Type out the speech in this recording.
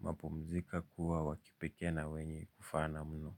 mapumzika kuwa wakipekee na wenye kufana mno.